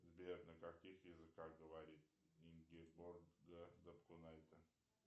сбер на каких языках говорит ингеборге дапкунайте